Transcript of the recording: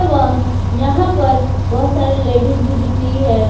एवं यहां पर बहुत सारे लेडीज भी दिख रही है।